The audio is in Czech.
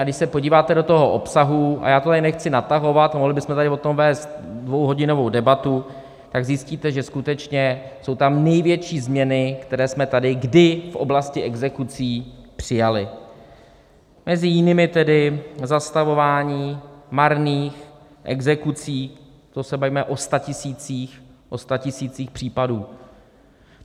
A když se podíváte do toho obsahu, a já to tady nechci natahovat, mohli bychom tady o tom vést dvouhodinovou debatu, tak zjistíte, že skutečně jsou tam největší změny, které jsme tady kdy v oblasti exekucí přijali, mezi jinými tedy zastavování marných exekucí, to se bavíme o statisících případů.